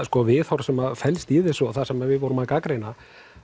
viðhorf sem felst í þessu og það sem við vorum að gagnrýna